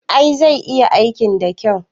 I, zai iya aikin da kyau